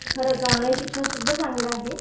खरंच ऑनलाईन शिक्षण सुद्धा चांगलं आहे.